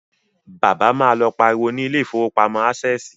Bàbá má lọ pariwo ni ilé ìfowópamọ́ Ásẹ̀sì